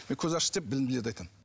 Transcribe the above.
мен көзі ашық деп білімділерді айтамын